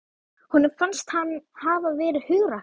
Honum fannst hann hafa verið hugrakkur.